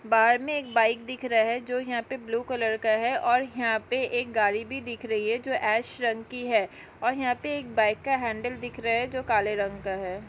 बाहर में एक बाइक दिख रहा है जो यहाँ पे ब्लू कलर का है और यहाँ पे एक गाड़ी भी दिख रही है जो ऐश रंग की है और यहाँ एक बाइक का हेंडल दिख रहा है जो काले रंग का है।